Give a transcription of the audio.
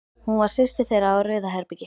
Hún var systir þeirra á Rauðabergi.